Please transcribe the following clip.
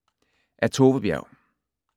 Af Tove Berg